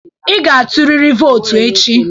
Ị ga-tụrịrị vootu echi.